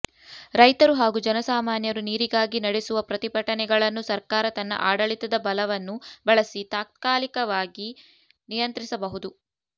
ರೈತರು ಹಾಗೂ ಜನಸಾಮಾನ್ಯರು ನೀರಿಗಾಗಿ ನಡೆಸುವ ಪ್ರತಿಭಟನೆಗಳನ್ನು ಸರ್ಕಾರ ತನ್ನ ಆಡಳಿತದ ಬಲವನ್ನು ಬಳಸಿ ತಾತ್ಕಾಲಿಕವಾಗಿ ನಿಯಂತ್ರಿಸಬಹುದು